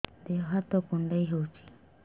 ଦେହ ହାତ କୁଣ୍ଡାଇ ହଉଛି